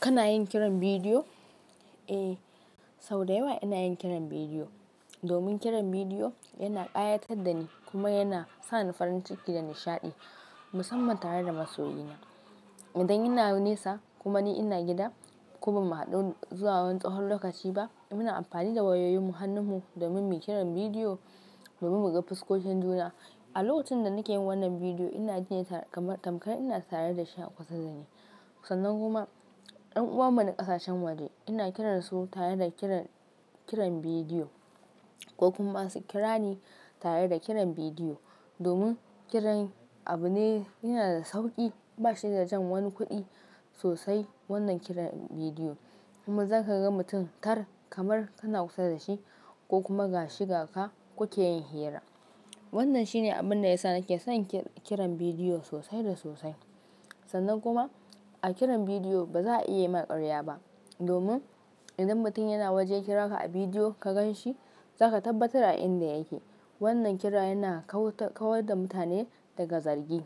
Kana yin kiran bidiyo? Eh, sau da yawa ina yin kiran bidiyo domin kiran bidiyo yana ƙayatar da ni kuma yana sa ni farin ciki da nishaɗi musamman tare da masoyina. Idan ina nesa kuma ni ina gida ko ba mu haɗu zuwa wani tsahon lokaci ba, muna amfani da wayoyin mu hannun mu domin mu yi kiran bidiyo domin mu buga fuskokin juna. A lokacin da nake yin wannan bidiyo, ina ji kamar tamkar ina tare da shi a kusa da ni. Sannan kuma ɗan uwan mu na ƙasashen waje ina kiran su tare da kiran, kiran bidiyo ko kuma su kira ni tare da kiran bidiyo. Domin Kiran abu ne yana da sauƙi, ba shi da jan wani kuɗi sosai wannan kiran bidiyo. Kuma zaka ga mutum kar kamar kana kusa da shi ko kuma ga shiga ka kuke yin hira. Wannan shine abun da ya sa nake son kiran bidiyo sosai da sosai. Sannan kuma a kiran bidiyo ba za a iya yi ma ƙarya ba domin idan mutum yana waje yakira ka a bidiyo ka gan shi zaka tabbatar a inda yake. Wannan kira yana kawar da mutane daga zargi.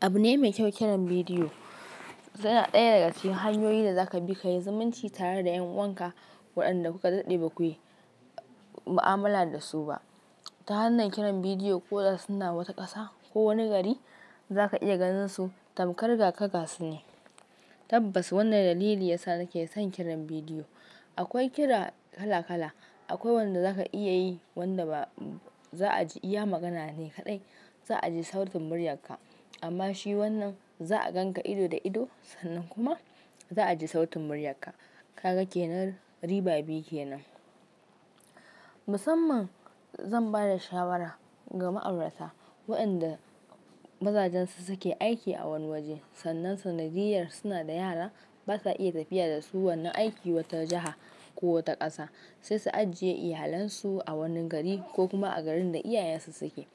Abu ne mai kyau kiran bidiyo. Suna ɗaya daga cikin hanyoyin da za ka bi ka yi zumunci tare da ƴan uwan ka. Waɗanda kuka daɗe ba ku yi ma'amala da su ba. Ta hanyar kiran bidiyo ko da suna wata ƙasa ko wani gari za ka iya ganin su tamar gakaga su ne. Tabbas wannan dalili ya sa nake son kiran bidiyo. Akwai kira kala kala. Akwai wanda za ka iya yi wanda ba za a ji iya magana ne kaɗai. Za a ji sautin muryar ka. Amma shi wannan za a gan ka ido da ido. Sannan kuma za a ji sautin murya ka. Kaga kenan riba biyu kenan. Musamman zan ba da shawara ga ma'aurata waɗanda mazajen su suke aiki a wani waje. Sannan sanadiyyar suna da yara basa iya tafiya da su wannan aiki wata jiha ko wata ƙasa. Sai su ajiye iyalansu a wani gari ko kuma a garin da iyayensu suke.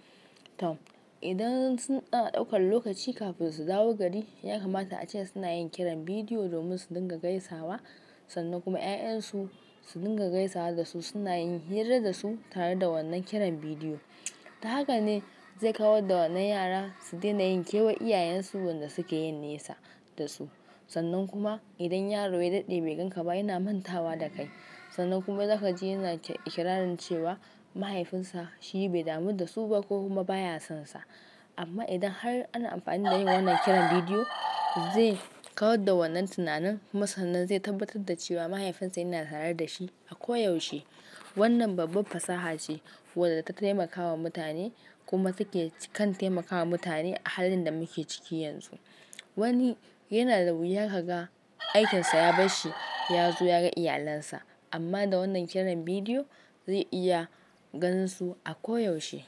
Tom idan suna ɗaukan lokaci kafin su dawo gari yakamata ace suna yin kiran bidiyo domin su dinga gaisawa. Sannan kuma ya'yan su su dinga gaisawa da su suna yin hira da su tare da wannan kiran bidiyo. Ta haka ne zai kawar da wannan yara su daina yinkewa iyayen su wanda suke yin nesa da su. Sannan kuma idan yaro ya daɗe bai gan ka ba yana mantawa da kai. Sannan kuma zaka ji yana ikirarin cewa mahaifinsa shi bai damu da su ba ko kuma baya sansa. Amma idan har ana amfani da yin wannan kiran bidiyo zai kawar da wannan tunanin kuma. Sannan zai tabbatar da cewa mahaifinsa yana tare da shi a koyaushe. Wannan babbar fasaha ce waɗanda ta taimakawa mutane kuma take kan taimakawa mutane a halin da muke ciki yanzu. Wani yana da wuya ka ga aikinsa ya bar shi ya zo ya ga iyalinsa. Amma da wannan kiran bidiyo zai iya ganin su a koyaushe.